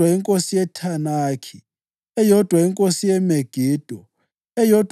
inkosi yeThanakhi, eyodwa inkosi yeMegido, eyodwa